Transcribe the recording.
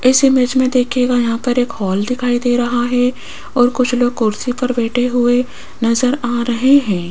इस इमेज में देखिएगा यहाँ पर एक हॉल दिखाई दे रहा है और कुछ लोग कुर्सी पर बैठे हुए नज़र आ रहे हैं। --